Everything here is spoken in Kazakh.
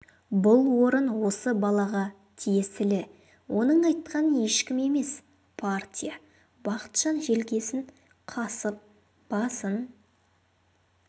бұл орын осы балаға тиесілі оның айтқан ешкім емес партия бақытжан желкесін қасып басын